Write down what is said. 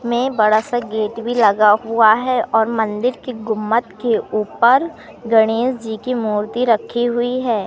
में बड़ा सा गेट भी लगा हुआ है और मन्दिर की गुम्मत के ऊपर गणेश जी की मूर्ति रखी हुई है।